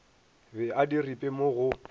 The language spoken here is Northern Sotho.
be a diripe mo go